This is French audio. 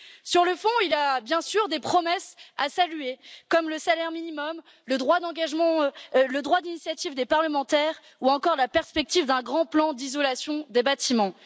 Sur le fond, il y a bien sûr des promesses à saluer, comme le salaire minimum, le droit d'engagement, le droit d'initiative des parlementaires ou encore la perspective d'un grand plan d'isolation des bâtiments.